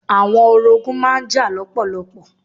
Àwọn orogún má n jà lọ́pọ̀lọpọ̀.